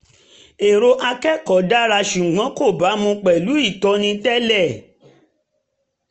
èrò akẹ́kọ̀ọ́ dára ṣùgbọ́n kò bámu pẹ̀lú ìtọ́ni tẹ́lẹ̀